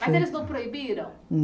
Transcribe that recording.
Mas eles não proibiram?